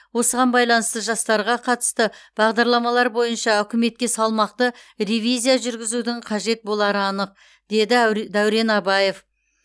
осыған байланысты жастарға қатысты бағдарламалар бойынша үкіметке салмақты ревизия жүргізудің қажет болары анық деді дәурен абаев